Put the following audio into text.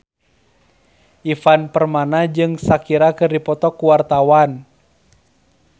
Ivan Permana jeung Shakira keur dipoto ku wartawan